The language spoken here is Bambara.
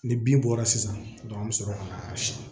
Ni bin bɔra sisan an bɛ sɔrɔ ka na siyɛn